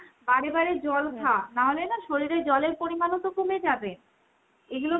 বারে বারে জল নাহলে না শরীরে জলের পরিমাণও তো কমে যাবে। এগুলো